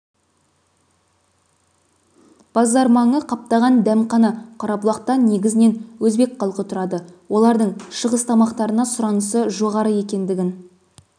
базар маңы қаптаған дәмхана қарабұлақта негізінен өзбек халқы тұрады олардың шығыс тамақтарына сұранысы жоғары екендігін